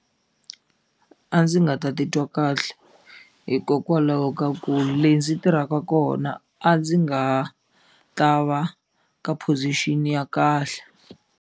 A ndzi nga ta titwa kahle hikokwalaho ka ku le ndzi tirhaka kona a ndzi nga ta va ka position ya kahle.